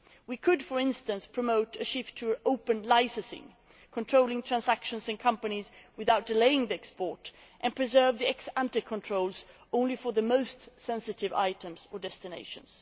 We could, for instance, promote a shift to open licensing controlling transactions in companies without delaying export and keeping ex ante controls only for the most sensitive items or destinations.